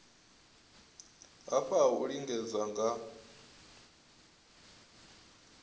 lafha ha u lingedza nga